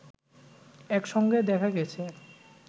একসঙ্গে দেখা গেছে